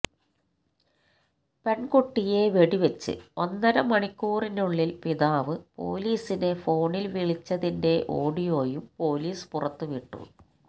പെണ്കുട്ടിയെ വെടിവച്ച് ഒന്നര മണിക്കൂറിനുള്ളില് പിതാവ് പൊലീസിനെ ഫോണില് വിളിച്ചതിന്റെ ഓഡിയോയും പൊലീസ് പുറത്തുവിട്ടു